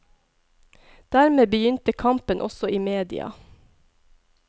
Dermed begynte kampen også i media.